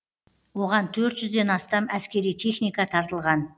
оған төрт жүзден астам әскери техника тартылған